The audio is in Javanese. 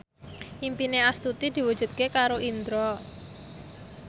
impine Astuti diwujudke karo Indro